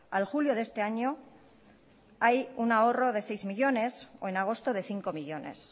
al julio de este año hay un ahorro de seis millónes o en agosto de cinco millónes